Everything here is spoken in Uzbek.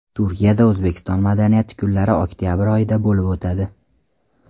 Turkiyada O‘zbekiston madaniyati kunlari oktabr oyida bo‘lib o‘tadi.